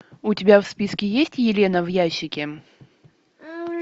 у тебя в списке есть елена в ящике